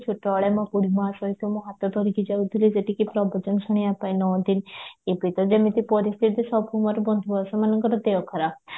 ଛୋଟ ବେଳେ ମୋ ସହିତ ମୁଁ ହାତ ଧରିକି ଯାଉଥିଲି ସେଠିକି ପ୍ରବଚନ ଶୁଣିବା ପାଇଁ ଏବେ ତ ଯେମିତି ପରିସ୍ଥିତି ସବୁ ମୋର ବନ୍ଧୁ ସମସ୍ତଙ୍କର ଦେହ ଖରାପ